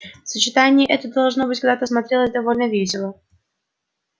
сочетание это должно быть когда-то смотрелось довольно весело